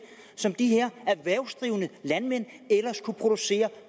som de her erhvervsdrivende landmænd ellers kunne producere